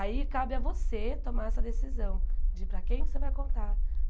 Aí cabe a você tomar essa decisão de para quem é que você vai contar.